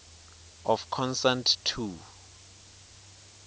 of consent to